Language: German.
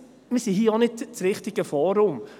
Wir sind hier auch nicht das richtige Forum dafür.